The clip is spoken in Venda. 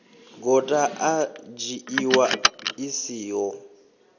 gota i dzhiiwa i siho